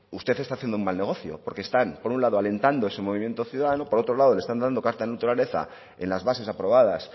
usted está haciendo un mal negocio porque están por un lado alentando ese movimiento ciudadano por otro lado le están dando carta de naturaleza en las bases aprobadas